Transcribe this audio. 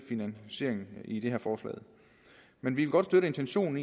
finansieringen i det her forslag men vi vil godt støtte intentionen